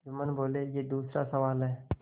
जुम्मन बोलेयह दूसरा सवाल है